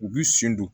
U b'i sen don